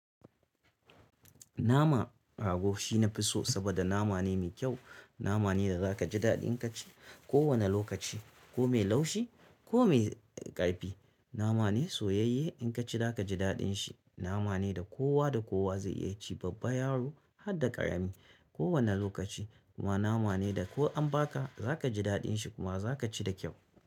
Nama rago shina fi so saboda nama ne mai kyau. Nama ne da za ka ji daɗin ka ci ko wane lokaci ko mai laushi ko mai ƙarfi. Nama ne soyayye in ka ci za ka ji daɗin shi. Namane da kowa da kowa zai iya ci babba yaro hadda ƙarami kowane lokaci. Kuma nama ne da ko an ba ka za ka ji daɗin shi kuma za ka ci da kyau.